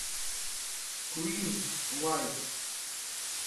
куин лайф